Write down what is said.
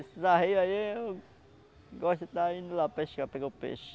Esses arreios aí, eu gosto de estar indo lá pescar, pegar o peixe.